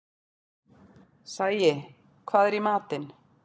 Sæi, hvað er í matinn?